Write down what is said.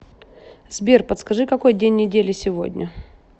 сбер подскажи какой день недели сегодня